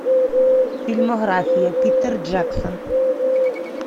фильмография питер джексон